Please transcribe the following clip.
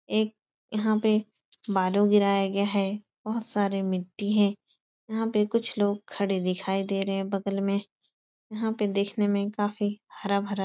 एक यहाँ पे बालू गिराया गया है। बोहोत सारे मिट्टी हैं। यहाँ पे कुछ लोग खड़े दिखाई दे रहे हैं बगल में। यहाँ पे दिखने में काफी हरा भरा --